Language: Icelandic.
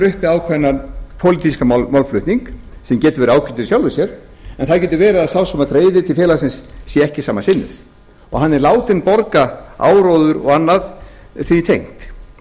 uppi ákveðinn pólitískan málflutning sem getur verið ágætur í sjálfu sér en það getur verið að sá sem greiðir til félagsins sé ekki sama sinnis og hann er látinn borga áróður og annað því tengt